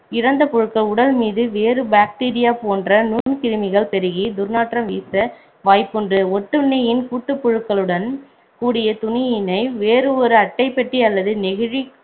இறந்த புழுக்கள் உடல் மீது வேறு bacteria போன்ற நுண்கிருமிகள் பெருகி துர்நாற்றம் வீச வாய்ப்புண்டு ஒட்டுண்ணியின் கூட்டுப்புழுக்களுடன் கூடிய துணியினை வேறு ஒரு அட்டைப்பெட்டி அல்லது நெகிழி